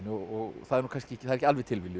og það er ekki alveg tilviljun